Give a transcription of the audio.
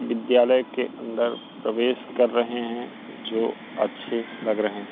विद्यालय के अंदर प्रवेश कर रहे हैं जो अच्छे लग रहे हैं।